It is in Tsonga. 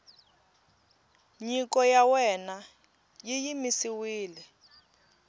nyiko ya wena yi yimisiwile